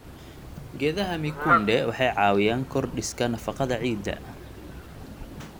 Geedaha mikunde waxay caawiyaan korodhsiga nafaqada ciidda.